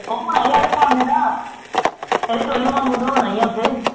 ਕੰਮ ਏਦਾਂ ਏਦੀ ਟੋਲੀ ਮਾਮੂ ਦਵਾਉਣਾ ਈ ਆ ਓਥੇ